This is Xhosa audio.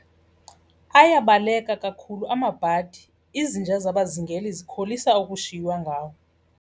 Ayabaleka kakhulu amabhadi, izinja zabazingeli zikholisa ukushiywa ngawo.